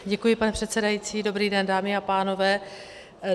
Děkuji, pane předsedající, dobrý den, dámy a pánové.